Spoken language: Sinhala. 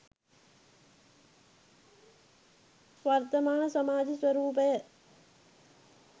වර්තමාන සමාජ ස්වරූපය